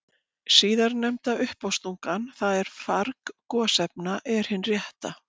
Síðarnefnda uppástungan, það er farg gosefna, er hin rétta.